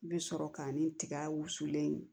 Bɛ sɔrɔ ka ni tiga wusulen